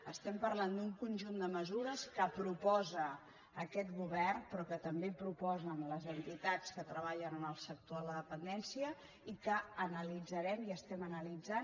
estem parlant d’un conjunt de mesures que proposa aquest govern però que també proposen les entitats que treballen en el sector de la dependència i que analitzarem i estem analitzant